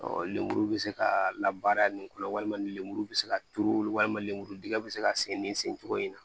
Ɔ lemuru bɛ se ka labaara nin ko la walima ni lemuru bɛ se ka turu walima lemuru dingɛ bɛ se ka sen nin sen cogo in na